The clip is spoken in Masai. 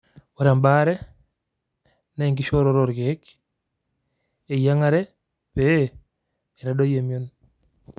ore embaare naa enkiishooroto oorkiek, eyiang'are pee eitadoyie emion.